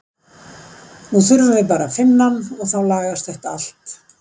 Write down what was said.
Nú þurfum við bara að finna hann og þá lagast þetta allt.